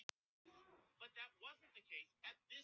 Allir geta ráðið hvorum megin hryggjar þeir liggja.